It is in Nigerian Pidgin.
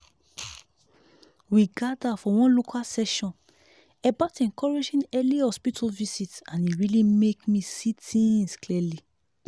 we gather for one local session about encouraging early hospital visit and e really make me see things clearly.